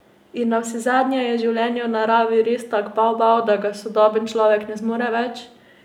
In navsezadnje, je življenje v naravi res tak bavbav, da ga sodoben človek ne zmore več?